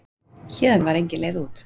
Héðan var engin leið út.